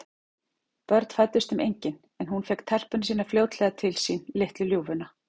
Börn fæddust þeim engin, en hún fékk telpuna sína fljótlega til sín, litlu ljúfuna.